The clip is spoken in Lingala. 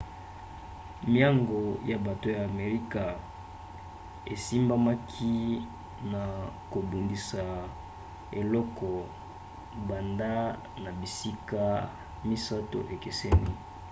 miango ya bato ya amerika esimbamaki na kobundisa eloko banda na bisika misato ekeseni